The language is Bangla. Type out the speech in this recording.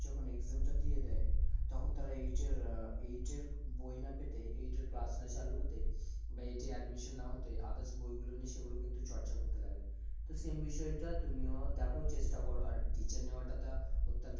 যখন exam টা দিয়ে দেয়, তখন তারা eight এর আহ eight এর বই না পেতেই eight এর class না চালু হতেই বা eight এর admission না হতে others বইগুলো নিয়ে সেগুলো কিন্তু চর্চা করতে লাগে, তো same বিষয়টা তুমিও দেখো চেষ্টা করো আর teacher নেওয়াটা তা অত্যন্ত